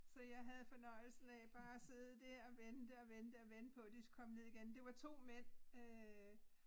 Så jeg havde fornøjelsen af bare at sidde dér og vente og vente og vente på de skulle komme ned igen. Det var 2 mænd øh